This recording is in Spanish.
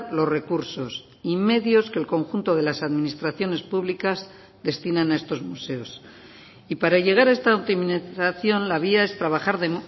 los recursos y medios que el conjunto de las administraciones públicas destinan a estos museos y para llegar a esta optimización la vía es trabajar de